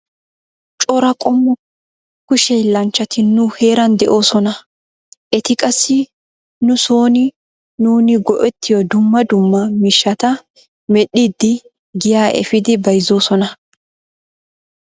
Cora qommo kushe hiillanchchati nu heeran de'oosona. Eti qassi nu sooni nuuni go'ettiyo dumma dumma mishshata medhdhidi giyaa efiidi bayzzoosona.